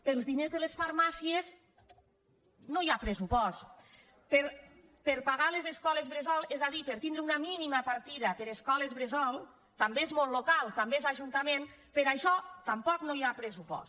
per als diners de les farmàcies no hi ha pressupost per pagar les escoles bressol és a dir per tindre una mínima partida per a escoles bressol també és món local també és ajuntament per això tampoc no hi ha pressupost